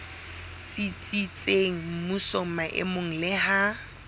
tsitsitseng mmusong maemong le ha